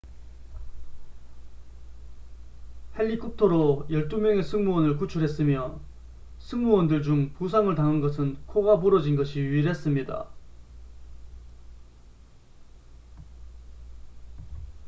헬리콥터로 12명의 승무원을 구출했으며 승무원들 중 부상을 당한 것은 코가 부러진 것이 유일했습니다